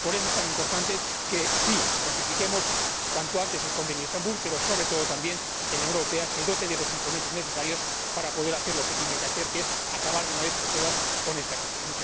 Y por eso es tan importante que sí ratifiquemos cuanto antes el Convenio de Estambul pero, sobre todo, también, que la Unión Europea se dote de los instrumentos necesarios para poder hacer lo que tiene que hacer, que es acabar de una vez por todas con esta cuestión.